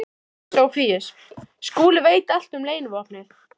SOPHUS: Skúli veit allt um leynivopnið.